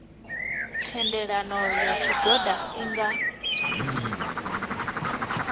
thendelano ya tshigwada i nga